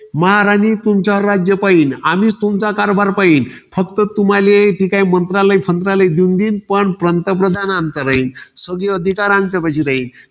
महाराणी तुमच्यावर राज्य पाहिल. आम्हीच तुमचा कारभार पाहीन. फक्त तुम्हाले इथे काय, मंत्रालय संत्रालय देऊन देईन. पण पंतप्रधान आमचा राहील. सगळे अधिकार आमचेपाशी राहील.